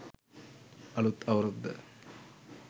අලුත් අවුරුද්ද